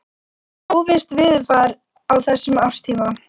Óvisst veðurfar á þessum árstíma.